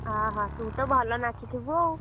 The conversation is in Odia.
ଅହ ତୁ ତ ଭଲ ନାଚିଥିବୁ ଆଉ?